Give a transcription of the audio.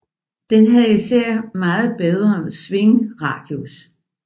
Den havde især meget bedre svingradius